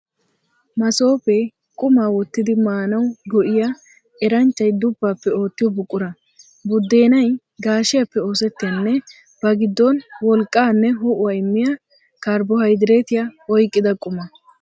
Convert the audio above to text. Masoofee qumaa wottidi maanawu go'iya, eranchchay duppaappe oottiyo buqura. Buddeenay gaashiyaappe oosettiyanne ba giddon wolqqaanne ho'uwaa immiya karbohaydireetiyaa oyqqida quma.